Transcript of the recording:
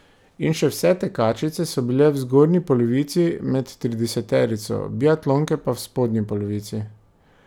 In še vse tekačice so bile v zgornji polovici, med trideseterico, biatlonke pa v spodnji polovici.